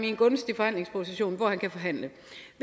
i en gunstig forhandlingsposition hvor man kan forhandle